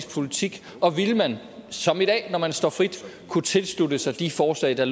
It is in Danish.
politik og ville man som i dag når man står frit kunne tilslutte sig de forslag der